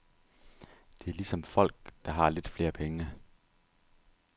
Det er ligesom folk, der har lidt flere penge.